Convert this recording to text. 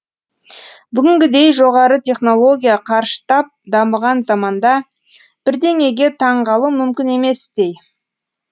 бүгінгідей жоғары технология қарыштап дамыған заманда бірдеңеге таңғалу мүмкін еместей